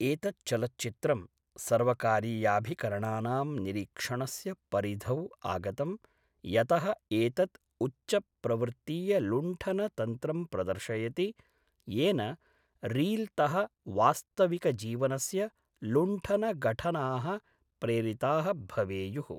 एतत् चलच्चित्रं सर्वकारीयाभिकरणानां निरीक्षणस्य परिधौ आगतम्, यतः एतत् उच्चप्रवृत्तीयलुण्ठनतन्त्रं प्रदर्शयति, येन रील् तः वास्तविकजीवनस्य लुण्ठनघटनाः प्रेरिताः भवेयुः।